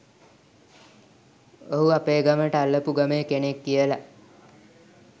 ඔහු අපේ ගමට අල්ලපු ගමේ කෙනෙක් කියලා